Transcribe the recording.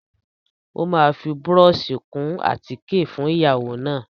Ó máa fi búrọ́ọ̀ṣì kun àtíkè fún ìyàwó náà.